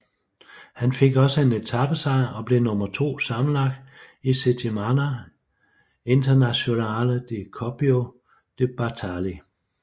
Han fik også en etapesejr og blev nummer to sammenlagt i Settimana internazionale di Coppi e Bartali